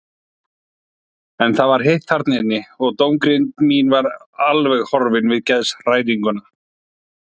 En það var heitt þarna inni og dómgreind mín var alveg horfin við geðshræringuna.